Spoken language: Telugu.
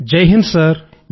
జై హింద్ సర్